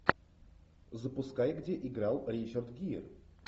запускай где играл ричард гир